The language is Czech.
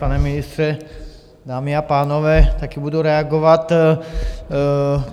Pane ministře, dámy a pánové, taky budu reagovat.